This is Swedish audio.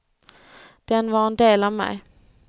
Den var en del av mig.